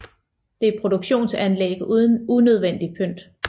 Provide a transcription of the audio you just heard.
Det er produktionsanlæg uden unødvendigt pynt